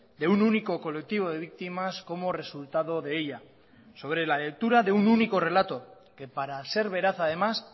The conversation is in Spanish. de un único colectivo de víctimas como resultado de ella sobre la lectura de un único relato que para ser veraz además